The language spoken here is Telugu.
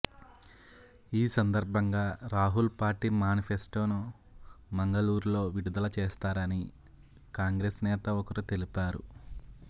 ఈ సందర్భంగా రాహుల్ పార్టీ మ్యానిఫెస్టోను మంగళూరులో విడుదల చేస్తారని కాంగ్రెస్ నేత ఒకరు తెలిపారు